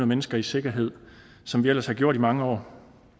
mennesker i sikkerhed som vi ellers har gjort i mange år